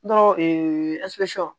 Dɔrɔn